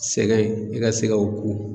Sɛgɛn i ka se ka o ku